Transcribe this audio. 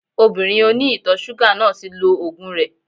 Obìnrin oní ìtọ̀ ṣúgà náà ti lo ògùn rẹ